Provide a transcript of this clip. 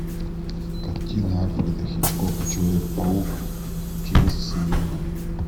картина альфреда хичкока человек паук через вселенные